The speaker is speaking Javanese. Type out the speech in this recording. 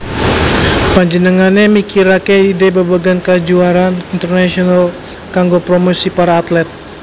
Panjenengané mikiraké ide babagan kajuaraan internasional kanggo promosi para atlet